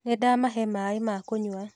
Nĩndamahe maĩ ma kũnywa